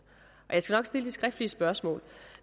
jeg skal nok stille de skriftlige spørgsmål